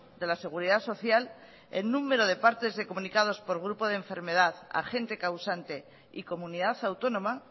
de la seguridad social el número de partes de comunicados por grupo de enfermedad a gente causante y comunidad autónoma